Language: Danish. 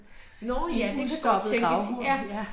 Nå ja det kan godt tænkes, ja